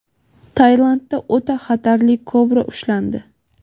Tailandda o‘ta xatarli kobra ushlandi.